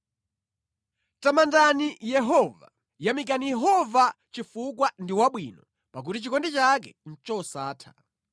Tamandani Yehova. Yamikani Yehova chifukwa ndi wabwino; pakuti chikondi chake ndi chosatha.